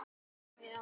Bíður færis.